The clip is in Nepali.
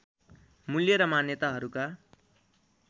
मूल्य र मान्यताहरूका